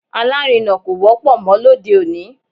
Alárinà kò wọ́pọ̀ mọ́ lóde òní